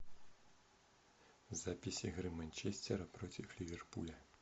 запись игры манчестера против ливерпуля